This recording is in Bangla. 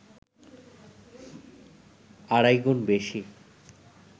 আড়াই গুণ বেশি